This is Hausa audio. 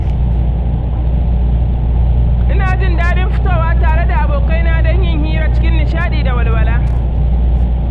Ina jin daɗin fitowa tare da abokaina don yin hira cikin nishadi da walwala